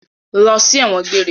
Lọ sí ẹ̀wọ̀n gbére!